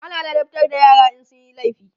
ana ladabtar da yara in sunyi laifi